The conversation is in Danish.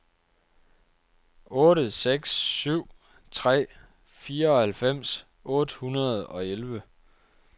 otte seks syv tre fireoghalvfems otte hundrede og elleve